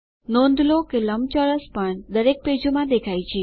નોંધ લો કે લંબચોરસ પણ દરેક પેજોમાં દેખાય છે